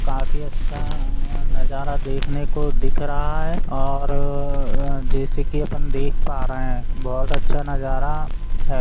काफी अच्छा नजारा देखने को दिख रहा है और जैसे कि अपन देख पा रहे है बहुत अच्छा नजारा है।